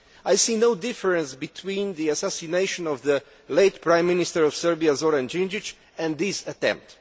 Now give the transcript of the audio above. I see no difference between the assassination of the late Prime Minister of Serbia, Zoran Đinđić, and this attempt.